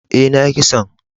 E,na yi kison.